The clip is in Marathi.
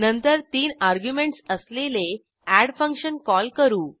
नंतर तीन अर्ग्युमेंटस असलेले एड फंक्शन कॉल करू